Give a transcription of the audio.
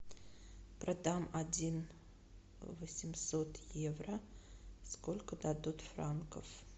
продам один восемьсот евро сколько дадут франков